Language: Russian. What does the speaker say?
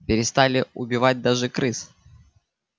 перестали убивать даже крыс